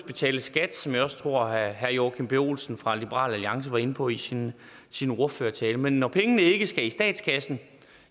betales skat som jeg også tror herre joachim b olsen fra liberal alliance var inde på i sin sin ordførertale men når pengene ikke skal i statskassen